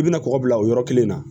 I bɛna kɔkɔ bila o yɔrɔ kelen na